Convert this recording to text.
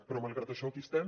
però malgrat això aquí estem